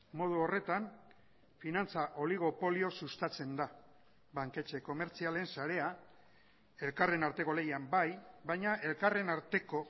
modu horretan finantza oligopolioz sustatzen da banketxe komertzialen sarea elkarren arteko lehian bai baina elkarren arteko